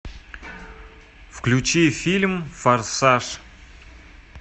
включи фильм форсаж